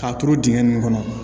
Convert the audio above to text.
K'a turu dingɛ nin kɔnɔ